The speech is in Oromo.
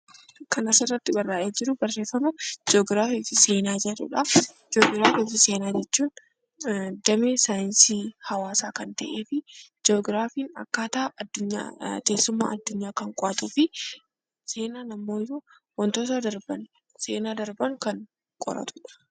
Jii'oogiraafii fi seenaa jechuun damee saayinsii hawaasaa kan ta'ee fi jii'oogiraafiin akkaataa teessuma addunyaa kan qo'atuu fi seenaan immoo wantoota darban seenaa darban kan qoratudha.